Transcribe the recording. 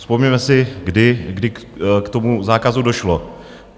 Vzpomeňme si, kdy k tomu zákazu došlo.